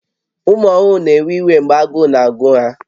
Ụmụ ọhụrụ na-ewe iwe mgbe agụụ na-agụ ha